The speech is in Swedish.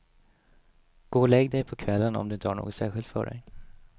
Gå och lägg dig på kvällen om du inte har något särskilt för dig.